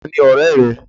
Ta ni ọ̀rẹ́ rẹ?